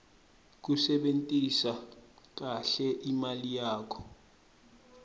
kusebentisa kahle imali yakho